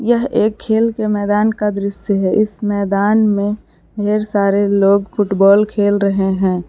यह एक खेल के मैदान का दृश्य है इस मैदान में ढेर सारे लोग फुटबॉल खेल रहे हैं।